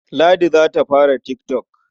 Ladi za ta fara tik tok.